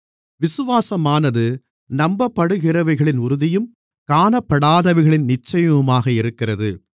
விசுவாசமானது நம்பப்படுகிறவைகளின் உறுதியும் காணப்படாதவைகளின் நிச்சயமுமாக இருக்கிறது